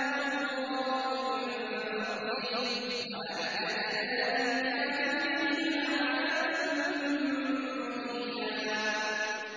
آتَاهُمُ اللَّهُ مِن فَضْلِهِ ۗ وَأَعْتَدْنَا لِلْكَافِرِينَ عَذَابًا مُّهِينًا